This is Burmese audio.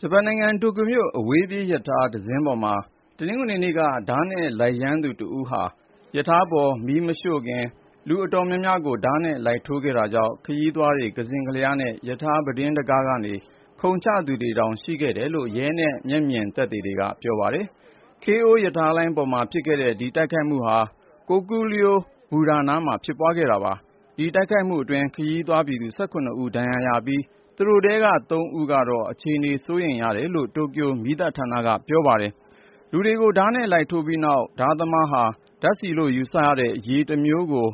ဂျပန်နိုင်ငံ တိုကျိုမြို့ အဝေးပြေးရထားတစင်းပေါ်မှာ တနင်္ဂနွေနေ့က ဓားနဲ့လိုက်ရမ်းနေသူ တဦးဟာ ရထားပေါ် မီးမရှို့ခင် လူအတော်များများကို ဓားနဲ့လိုက်ထိုးခဲ့တာကြောင့် ခရီးသွားတွေ ကစဉ့်ကလျားနဲ့ ရထားပြတင်းတံခါးကနေ ခုန်ချသူတွေတောင် ရှိခဲ့ကြောင်း ရဲနဲ့ မျက်မြင်တွေက ပြောပါတယ်။ Keio ရထားလိုင်းပေါ်မှာ ဖြစ်ခဲ့တဲ့ ဒီတိုက်ခိုက်မှုဟာ Kokuryo ဘူတာနားမှာ ဖြစ်ပွားခဲ့တာပါ။ ဒီတိုက်ခိုက်မှုအတွင်း ခရီးသွားပြည်သူ ၁၇ ဦး ဒဏ်ရာရခဲ့ပြီး သူတို့ထဲက ၃ ဦးကတော့ အခြေအနေ စိုးရိမ်ရတယ်လို့ တိုကျိုမီးသတ်ဌာနက ပြောပါတယ်။ လူတွေကို ဓားနဲ့လိုက်ထိုးပြီးနောက် ဓားသမားဟာ ဓာတ်ဆီလို့ယူဆရတဲ့ အရည်တမျိုးကို